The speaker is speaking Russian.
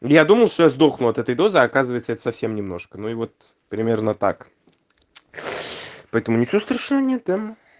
я думал что я сдохну от этой дозы оказывается это совсем немножко ну и вот примерно так поэтому ничего страшного нет да